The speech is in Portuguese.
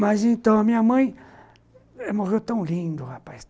Mas então, a minha mãe morreu tão lindo, rapaz.